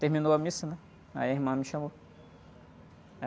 Terminou a missa, né? Aí, a irmã me chamou.